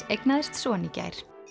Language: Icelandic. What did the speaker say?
eignaðist son í gær